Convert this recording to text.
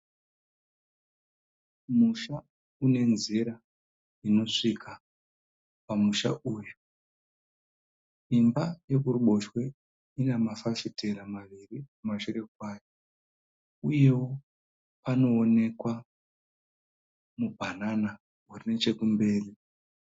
Musha unenzira inosvika pamusha uyu. Imba iri kuboshwe ine mafafitera mahombe kumashure kwayo uyewo pano onekwa mubhanana uri nechekumberi.